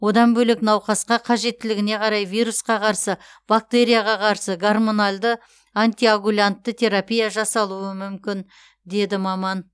одан бөлек науқасқа қажеттілігіне қарай вирусқа қарсы бактерияға қарсы гормоналды антиагулянтты терапия жасалуы мүмкін деді маман